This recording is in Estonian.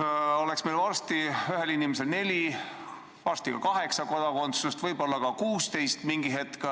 oleks meil varsti ühel inimesel neli, varsti ka kaheksa kodakondsust, võib-olla ka 16 mingi hetk.